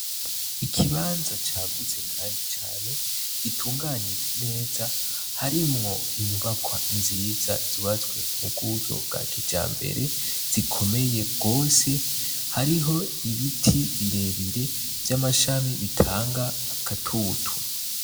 Ikibanza cagutse, kandi cane gitunganije neza harimwo inyubaka nziza ziwazwe mu buryo bwa kija mbere zikomeye rwose hariho ibiti birebire vy'amashami bitanga agatutu.